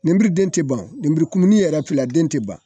Nemburu den tɛ ban, nemburu kumuni yɛrɛ fila, den tɛ ban.